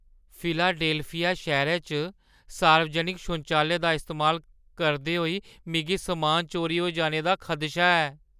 Philadelphia शैह्‌रै च सार्वजनक शौचालयें दा इस्तेमाल करदे होई मिगी समान चोरी होई जाने दा खदशा ऐ।